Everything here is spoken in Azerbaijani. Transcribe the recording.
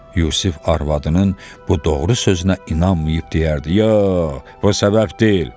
Yusif arvadının bu doğru sözünə inanmayıb deyərdi: Ya, bu səbəb deyil.